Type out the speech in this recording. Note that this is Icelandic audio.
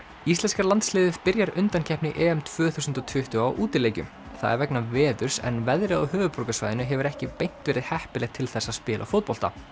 íslenska landsliðið byrjar undankeppni tvö þúsund og tuttugu á útileikjum það er vegna veðurs en veðrið á höfuðborgarsvæðinu hefur ekki beint verið heppilegt til þess að spila fótbolta